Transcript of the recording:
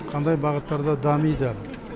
қандай бағыттарда дамиды